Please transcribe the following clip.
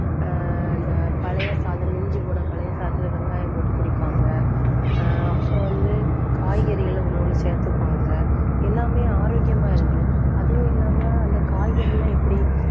ஆஹ் இந்த பழைய சாதம், மிஞ்சிப்போன பழைய சாதத்துல வெங்காயம் போட்டு குடிப்பாங்க ஆஹ் அப்போ வந்து காய்கறிகளை உணவுல சேர்த்துப்பாங்க. எல்லாமே ஆரோக்கியமா இருந்து அதுவும் இல்லாம அந்த காய்கறி எல்லாம் எப்படி